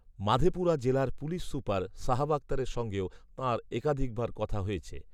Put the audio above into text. মাধেপুরা জেলার police super Sahab আখতারের সঙ্গেও তাঁর একাধিকবার কথা হয়েছে